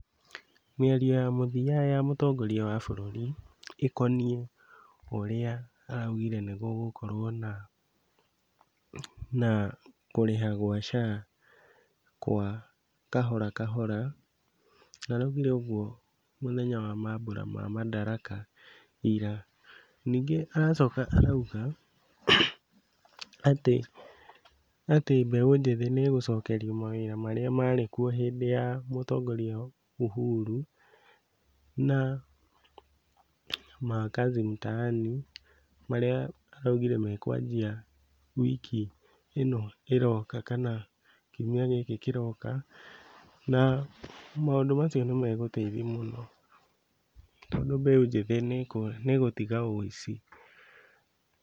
Mĩario ya mũthia ya mũtongoria wa bũrũri ĩkoniĩ ũrĩa araugire nĩgũgũkorwo na na kũrĩha gwa SHA kwa kahora kahora, na araugire ũguo mũthenya wa mambũra ma Madaraka ira. Ningĩ aracoka arauga atĩ, atĩ mbeũ njĩthĩ nĩmegũcokerio mawĩra marĩa marĩ kuo hĩndĩ ya mũtongoria Uhuru na ma Kazi Mtaani marĩa araugire mekwanjia wiki ĩno ĩroka kana kiumia gĩkĩ kĩroka na maũndũ macio nĩmegũteithi mũno tondũ mbeũ njĩthĩ nĩĩgũtiga wĩici.